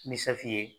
Ni ye